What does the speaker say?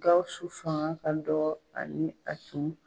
Gawusu fanga ka dɔgɔ ani a tun